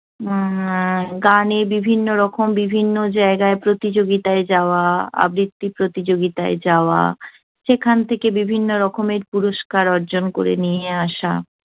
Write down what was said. উহ গানে বিভিন্নরকম বিভিন্ন জায়গায় প্রতিযোগিতায় যাওয়া, আবৃত্তি প্রতিযোগিতায় যাওয়া। সেখান থেকে বিভিন্নরকমের পুরস্কার অর্জন করে নিয়ে আসা